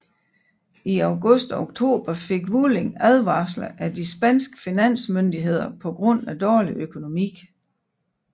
I august og oktober fik Vueling advarsler af de spanske finansmyndigheder på grund af dårlig økonomi